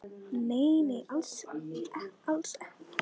Nei, nei, alls ekkert, sagði Lóa-Lóa.